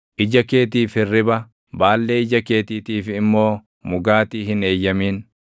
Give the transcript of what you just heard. Ija keetiif hirriba, baallee ija keetiitiif immoo mugaatii hin eeyyamin.